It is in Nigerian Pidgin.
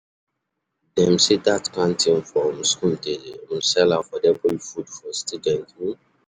Dem sey dat canteen for um school dey um sell affordable food for students. um